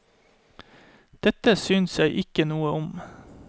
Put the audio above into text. Dette synes jeg ikke noe om.